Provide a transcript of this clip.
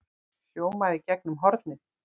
hljómaði í gegnum hornið.